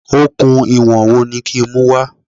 Okùn ìwọ̀n wo ni kí n mú wá?